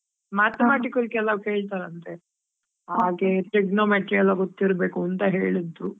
Mathematical ಕೆಲವ್ ಕೇಳ್ತಾರಂತೆ, trigonometry ಎಲ್ಲಾ ಗೊತ್ತಿರ್ಬೇಕು ಅಂತಾ ಹೇಳಿದ್ರು.